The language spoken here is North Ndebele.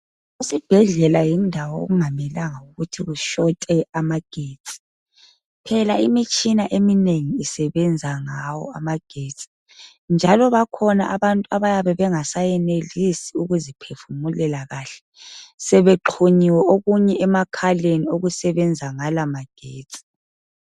Esibhedlela yindawo okungamelanga ukuthi kushote amagetsi phela imitshina eminengi isebenza ngawo amagetsi njalo bakhona abantu abayabe bengesenelisi ukuziphefumulela kahle sebexhunyiwe okunye emakhaleni okusebenza ngala magetsi.